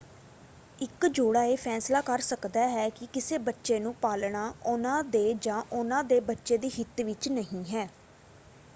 ਇੱਕ ਜੋੜਾ ਇਹ ਫੈਸਲਾ ਕਰ ਸਕਦਾ ਹੈ ਕਿ ਕਿਸੇ ਬੱਚੇ ਨੂੰ ਪਾਲਣਾ ਉਹਨਾਂ ਦੇ ਜਾਂ ਉਹਨਾਂ ਦੇ ਬੱਚੇ ਦੇ ਹਿੱਤ ਵਿੱਚ ਨਹੀਂ ਹੈਂ।